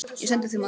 Ég sendi því mat.